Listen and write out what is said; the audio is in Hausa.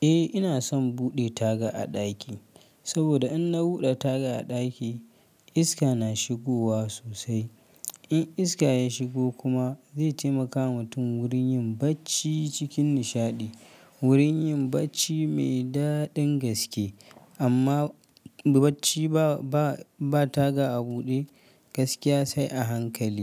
Eh, ina son buɗe taga a ɗaki, saboda in na buɗe taga a ɗaki iska na shigowa sosai. In iska ya shigo kuma zai taimaka wa mutum wurin yin bacci cikin nishaɗi, wurin yin bacci mai daɗin gaske. Amma bacci ba, ba, ba taga a buɗe gaskiya sai a hankali.